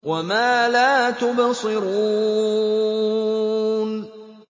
وَمَا لَا تُبْصِرُونَ